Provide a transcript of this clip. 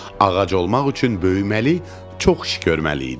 Ağac olmaq üçün böyüməli, çox iş görməli idim.